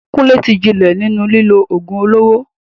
Kunle ti jinlẹ̀ nínú lílo ògùn olóró.